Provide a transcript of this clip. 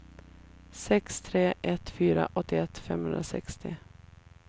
sex tre ett fyra åttioett femhundrasextio